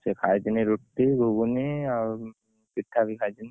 ସେ ଖାଇଥିନି ରୁଟି ଗୁଗୁନି ଆଉ ପିଠା ବି ଖାଇଥିଲି